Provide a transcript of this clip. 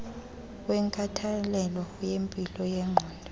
wenkathalelo yempilo yengqondo